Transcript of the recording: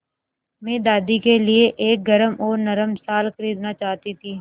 मैं दादी के लिए एक गरम और नरम शाल खरीदना चाहती थी